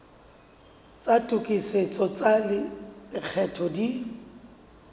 tsa tokisetso tsa lekgetho di